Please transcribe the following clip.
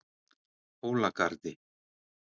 Hólagarði